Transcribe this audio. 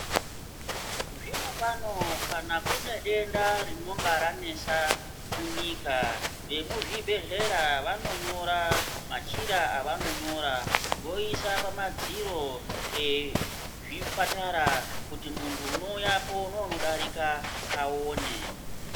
Zvino pano kana kune denda rinonga ranesa munyika vekuzvibhehleya vanonyora machira avanonyora voisa pamadziro ezvipatata kuti muntu unouyapo neunodarika aone.